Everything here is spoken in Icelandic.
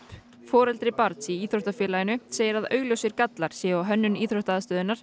foreldri barns í íþróttafélaginu segir að augljósir gallar séu á hönnun